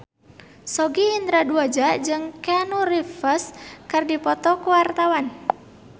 Sogi Indra Duaja jeung Keanu Reeves keur dipoto ku wartawan